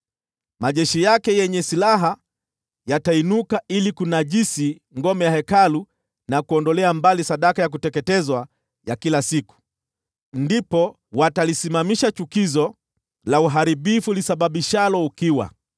“Majeshi yake yenye silaha yatainuka ili kunajisi ngome ya Hekalu, na kuondolea mbali sadaka ya kuteketezwa ya kila siku. Ndipo watalisimamisha chukizo la uharibifu lisababishalo ukiwa.